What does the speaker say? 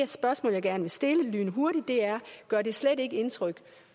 spørgsmål jeg gerne vil stille lynhurtigt er gør det slet ikke indtryk